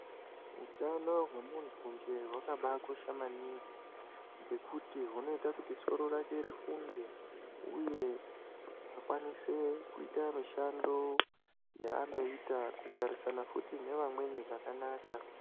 Utano hwemuntunje hwakabaakosha maningi, ngekuti hunoita kuti soro rake rifunge ,uye akwanise kuita mishando yaanoita ,kugarisana futi nevamweni zvakanaka.